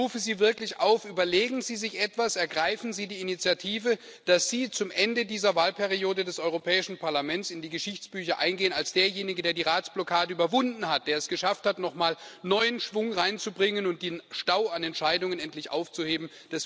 Ich rufe Sie wirklich auf Überlegen Sie sich etwas, ergreifen Sie die Initiative, damit Sie zum Ende dieser Wahlperiode des Europäischen Parlaments in die Geschichtsbücher eingehen als derjenige, der die Ratsblockade überwunden hat, der es geschafft hat, nochmal neuen Schwung reinzubringen und den Stau an Entscheidungen endlich aufzuheben!